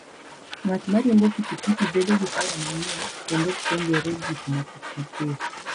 Ng'at ma riembo pikipiki, bedo gi paro manyien kendo puonjore gik moko mapiyo.